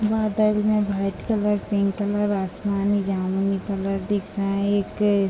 बादल है white colour pink colour आसमानी जामुनी कलर दिख रहा है एक --